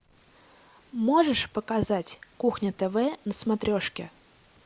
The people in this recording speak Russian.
можешь показать кухня тв на смотрешке